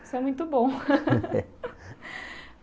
Isso é muito bom.